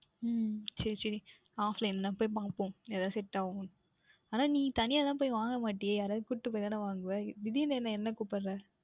உம் சரி சரி Offline ல போய் பார்ப்போம் எதாவுது Set ஆகின்றதா என்று ஆனால் நீங்கள் தனியா தான் போய் வாங்க மாட்டிர்களே யாராவதை கூப்பிட்டு போய் தானே வாங்குவீர்கள் திடீர் என்று என்ன என்னை கூப்புடுகிறீர்கள்